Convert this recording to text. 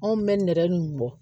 Anw bɛ nɛrɛ in bɔ